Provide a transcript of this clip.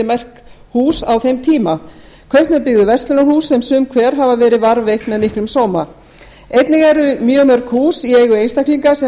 merk hús á þeim tíma kaupmenn byggðu verslunarhús sem sum hver hafa verið varðveitt með miklum sóma einnig eru mjög mörg hús í eigu einstaklinga sem